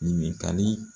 Ɲininkali